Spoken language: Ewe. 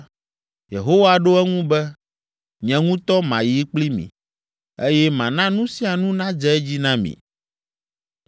Yehowa ɖo eŋu be, “Nye ŋutɔ mayi kpli mi, eye mana nu sia nu nadze edzi na mi.”